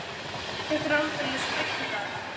Þetta er aldeilis breytt í dag?